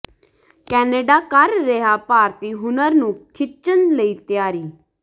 Canada ਕਰ ਰਿਹਾ ਭਾਰਤੀ ਹੁਨਰ ਨੂੰ ਖਿੱਚਣ ਲਈ ਤਿਆਰੀ